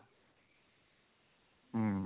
ହୁଁ